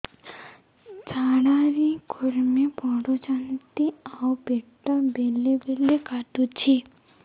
ଝାଡା ରେ କୁର୍ମି ପଡୁଛନ୍ତି ଆଉ ପେଟ ବେଳେ ବେଳେ କାଟୁଛି